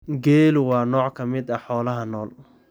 Geelu waa nooc ka mid ah xoolaha nool.